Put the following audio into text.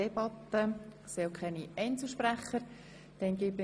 Wir führen eine freie Debatte.